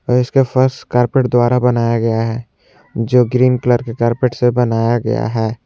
इसका फर्श कारपेट द्वारा बनाया गया है जो ग्रीन कलर के कारपेट से बनाया गया है।